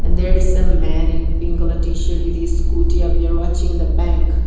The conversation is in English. there is a man in pink colour t shirt with his scooty up there watching the bank.